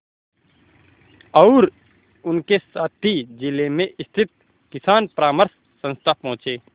और उनके साथी जिले में स्थित किसान परामर्श संस्था पहुँचे